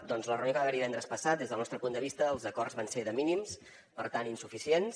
doncs a la reunió que hi va haver divendres passat des del nostre punt de vista els acords van ser de mínims per tant insuficients